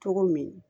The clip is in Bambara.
Cogo min